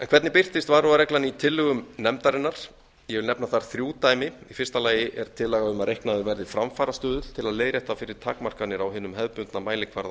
hvernig birtist varúðarreglan í tillögum nefndarinnar ég vil nefna þar þrjú dæmi í fyrsta lagi er tillaga um að reiknaður verði framfarastuðull til að leiðrétta fyrir takmarkanir á hinum hefðbundna mælikvarða